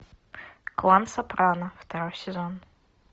клан сопрано второй сезон